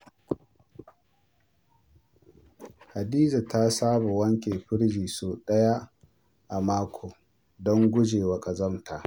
Hadiza ta saba wanke firji sau ɗaya a mako don guje wa ƙazanta.